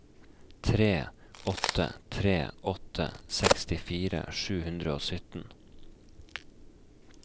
tre åtte tre åtte sekstifire sju hundre og sytten